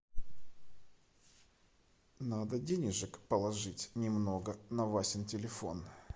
надо денежек положить немного на васин телефон